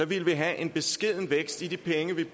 ville vi have en beskeden vækst i de penge der